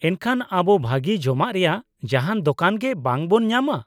ᱮᱱᱠᱷᱟᱱ, ᱟᱵᱚ ᱵᱷᱟᱹᱜᱤ ᱡᱚᱢᱟᱜ ᱨᱮᱭᱟᱜ ᱡᱟᱦᱟᱱ ᱫᱳᱠᱟᱱ ᱜᱮ ᱵᱟᱝ ᱵᱚᱱ ᱧᱟᱢᱟ ?